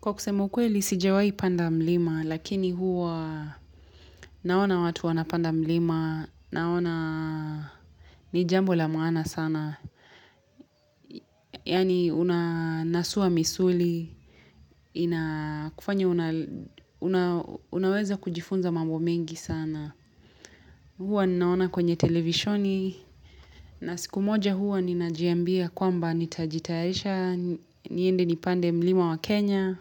Kwa kusema ukweli lisijewai panda mlima, lakini huwa naona watu wana panda mlima, naona ni jambo la maana sana. Yani unasua misuli, inakufanya unaweza kujifunza mambo mengi sana. Huwa naona kwenye televisioni, na siku moja huwa ninajiambia kwamba nitajitaesha, niende nipande mlima wa Kenya.